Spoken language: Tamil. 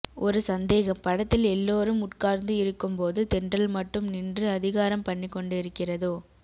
ஒரு சந்தேகம் படத்தில் எல்லோரும் உட்கார்ந்து இருக்கும் போது தென்றல் மட்டும் நின்று அதிகாரம் பண்ணிக் கொண்டு இருக்கிறதோ